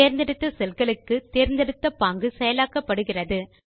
தேர்ந்தெடுத்த செல்களுக்கு தேர்ந்தெடுத்த பாங்கு செயலாக்கப்படுகிறது